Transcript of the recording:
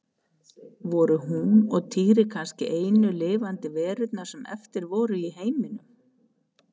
Voru hún og Týri kannski einu lifandi verurnar sem eftir voru í heiminum?